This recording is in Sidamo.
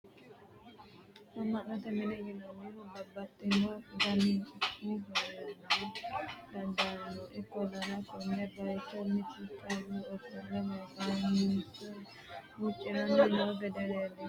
amma'note mine yinannihu babbaxino danihu heerara dandaanno, ikkollano konne bayiicho mittu callu ofolle maganosi huuciranni noo gede leelishshanno yaate tini?